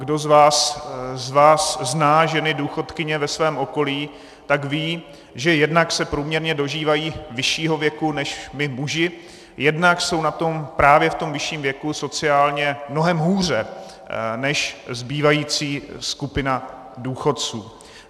Kdo z vás zná ženy důchodkyně ve svém okolí, tak ví, že jednak se průměrně dožívají vyššího věku než my muži, jednak jsou na tom právě v tom vyšším věku sociálně mnohem hůře než zbývající skupina důchodců.